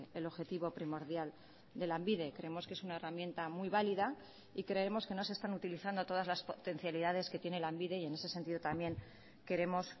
el objetivo primordial de lanbide creemos que es una herramienta muy válida y creemos que no se están utilizando todas las potencialidades que tiene lanbide y en ese sentido también queremos